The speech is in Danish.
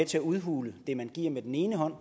til at udhule det man giver med den ene hånd